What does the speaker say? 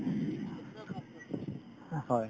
হয়